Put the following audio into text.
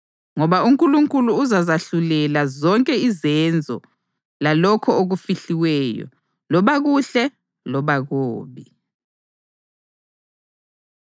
Ngoba uNkulunkulu uzazahlulela zonke izenzo, lalokho okufihliweyo loba kuhle loba kubi.